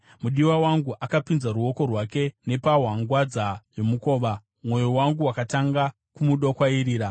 Mudiwa wangu akapinza ruoko rwake nepahwangwadza yomukova; mwoyo wangu wakatanga kumudokwairira.